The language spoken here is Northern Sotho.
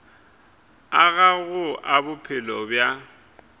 a gago a bophelo bja